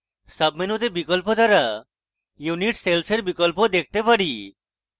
সাবমেনুতে বিকল্প দ্বারা unit সেলসের blocks দেখতে পারি